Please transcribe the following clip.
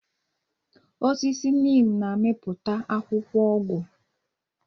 Osisi Nịm na-amịpụta akwụkwọ ọgwụ.